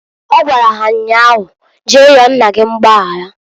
Ọ gwalụ ha nnyaa ahu, Jee yọọ nna gi mgbayara.